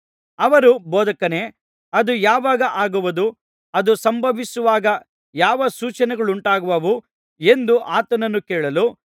ಅವರು ಬೋಧಕನೇ ಅದು ಯಾವಾಗ ಆಗುವುದು ಅದು ಸಂಭವಿಸುವಾಗ ಯಾವ ಸೂಚನೆಗಳುಂಟಾಗುವುವು ಎಂದು ಆತನನ್ನು ಕೇಳಲು